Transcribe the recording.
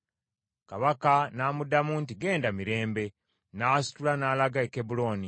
Kabaka n’amuddamu nti, “Ggenda mirembe.” N’asitula n’alaga e Kebbulooni.